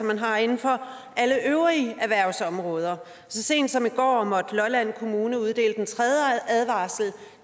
man har inden for alle øvrige erhvervsområder så sent som i går måtte lolland kommune uddele den tredje advarsel